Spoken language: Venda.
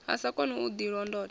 a sa koni u ḓilondota